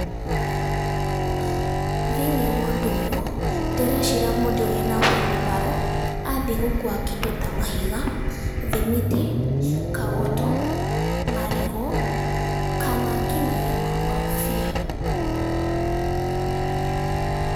Thĩinĩ wa ũndũ ũyũ, ndĩreciria mũndũ ũyũ wĩna huirubaro, athiĩ gũkua kĩndũ ta mahiga, thimiti, kagoto, marigũ kana nginyagia makorobia.